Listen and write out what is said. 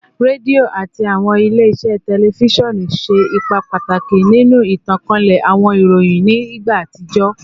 Redio ati awọn ile-iṣẹ tẹlifisiọnu ṣe ipa pataki ninu itankale awọn iroyin ni igba atijọ